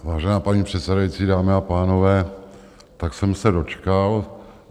Vážená paní předsedající, dámy a pánové, tak jsem se dočkal.